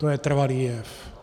To je trvalý jev.